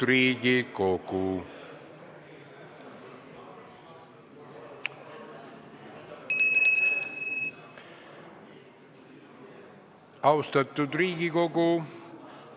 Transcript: Austatud Riigikogu!